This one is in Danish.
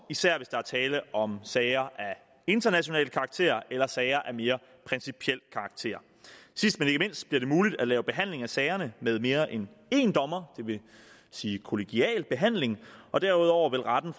især hvis der er tale om sager af international karakter eller sager af mere principiel karakter sidst men ikke mindst bliver det muligt at lave behandling af sagerne med mere end én dommer det vil sige kollegial behandling og derudover vil retten